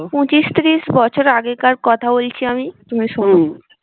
পঁচিশ তিরিশ বছর আগেকার কথা বলছি আমি তুমি শোনো